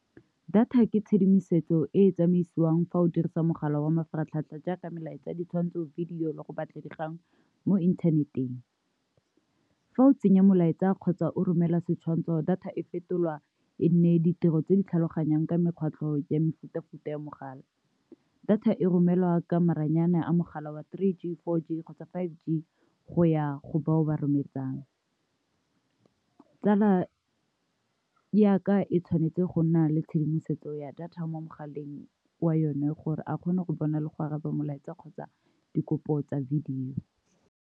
Data ke tshedimosetso e e tsamaisiwang fa o dirisa mogala wa mafaratlhatlha jaaka melaetsa, ditshwantsho, video le go batla dikgang mo inthaneteng. Fa o tsenya molaetsa kgotsa o romela setshwantshogo data e fetolwa e nne ditiro tse di tlhaloganyang ka mekgatlho ya mefuta futa ya mogala. Data e romelwa ka maranyane a mogala wa three G, four G kgotsa five G go ya go bao ba rometsang . Tsala ya ka e tshwanetse go nna le tshedimosetso ya data mo mogaleng wa yone gore a kgone go bona le go araba molaetsa kgotsa dikopo tsa video.